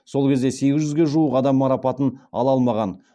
сол кезде сегіз жүзге жуық адам марапатын ала алмаған